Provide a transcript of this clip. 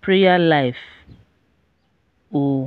prayer life o. um